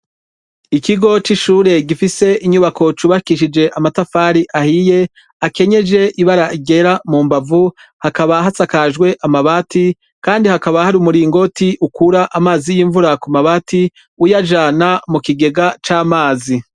Ikigo c'ishure gifise inyubako cubakishije amatafari ahiye akenyeje ibaragera mu mbavu hakaba hatsakajwe amabati, kandi hakaba hari umuringoti ukura amazi y'imvura ku mabati uyajana mu kigega c'amazi.